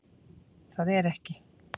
Það er ekki